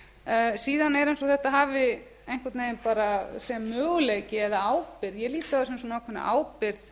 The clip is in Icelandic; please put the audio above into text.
er eins og þetta hafi einhvern veginn sé möguleiki eða ábyrgð ég lít á þetta sem ákveðna ábyrgð